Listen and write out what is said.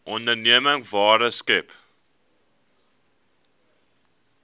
onderneming waarde skep